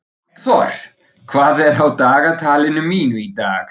Eggþór, hvað er á dagatalinu mínu í dag?